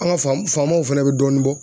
An ka faamunaw fana bɛ dɔɔnin bɔ.